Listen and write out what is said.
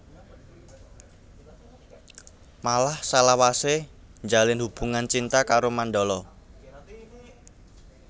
Malah salawasé njalin hubungan cinta karo Mandala